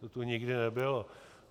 To tu nikdy nebylo.